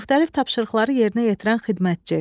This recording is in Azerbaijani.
Müxtəlif tapşırıqları yerinə yetirən xidmətçi.